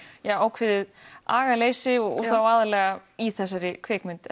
ákveðið agaleysi og þá aðallega í þessari kvikmynd